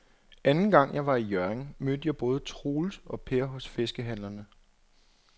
Anden gang jeg var i Hjørring, mødte jeg både Troels og Per hos fiskehandlerne.